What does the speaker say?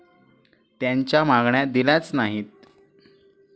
त्यांच्या मागण्या दिल्याच नाहीत.